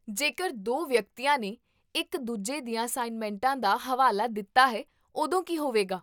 ਜੇਕਰ ਦੋ ਵਿਅਕਤੀਆਂ ਨੇ ਇਕ ਦੂਜੇ ਦੀਆਂ ਅਸਾਈਨਮੈਂਟਾਂ ਦਾ ਹਵਾਲਾ ਦਿੱਤਾ ਹੈ ਓਦੋਂ ਕੀ ਹੋਵੇਗਾ?